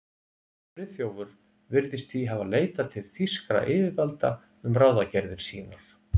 Friðþjófur virðist því hafa leitað til þýskra yfirvalda um ráðagerðir sínar.